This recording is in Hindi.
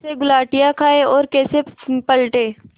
कैसे गुलाटियाँ खाएँ और कैसे पलटें